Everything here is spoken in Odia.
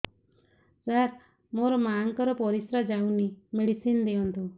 ସାର ମୋର ମାଆଙ୍କର ପରିସ୍ରା ଯାଉନି ମେଡିସିନ ଦିଅନ୍ତୁ